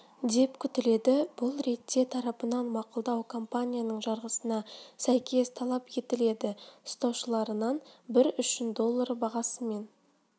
деп күтіледі бұл ретте тарапынан мақұлдау компанияның жарғысына сәйкес талап етіледі ұстаушыларынабір үшін доллары бағасымен